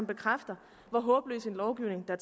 bekræfter hvor håbløs en lovgivning der